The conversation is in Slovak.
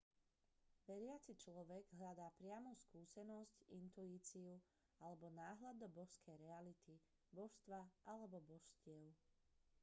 veriaci človek hľadá priamu skúsenosť intuíciu alebo náhľad do božskej reality/božstva alebo božstiev